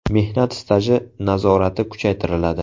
Mehnat staji nazorati kuchaytiriladi.